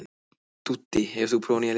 Dúddi, hefur þú prófað nýja leikinn?